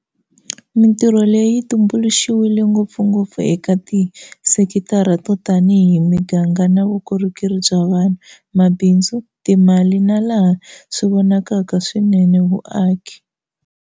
Mitirho leyi yi tumbu luxiwile ngopfungopfu eka tisekitara to tanihi miganga na vukorhokeri bya vanhu, mabindzu, timali na, laha swi vonakaka swinene, vuaki.